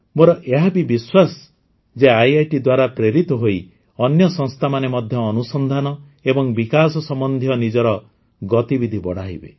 ମୋର ଏହା ବି ବିଶ୍ୱାସ ଯେ ଆଇଆଇଟି ଦ୍ୱାରା ପ୍ରେରିତ ହୋଇ ଅନ୍ୟ ସଂସ୍ଥାମାନେ ମଧ୍ୟ ଅନୁସନ୍ଧାନ ଏବଂ ବିକାଶ ସମ୍ବନ୍ଧୀୟ ନିଜର ଗତିବିଧି ବଢ଼ାଇବେ